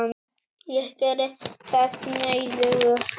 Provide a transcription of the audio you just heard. Ég geri það nauðugur.